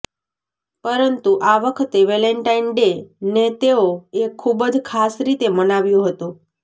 પરંતુ આ વખતે વેલેન્ટાઇન ડે ને તેઓ એ ખુબ જ ખાસ રીતે મનાવ્યો હતો